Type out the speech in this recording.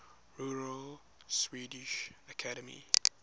royal swedish academy